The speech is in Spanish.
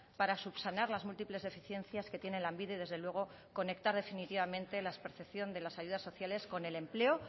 para subsanar las múltiples deficiencias que tiene lanbide desde luego conectar definitivamente la percepción de las ayudas sociales con el empleo